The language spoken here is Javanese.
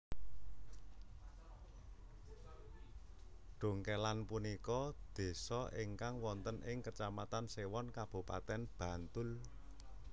Dongkélan punika désa ingkang wonten ing Kecamatan Séwon Kabupatèn Bantul